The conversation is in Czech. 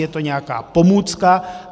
Je to nějaká pomůcka.